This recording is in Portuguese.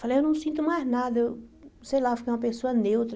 Falei, eu não sinto mais nada, eu sei lá, eu fiquei uma pessoa neutra.